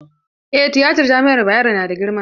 Eh tiyatan jami'ar Bayero na da girma.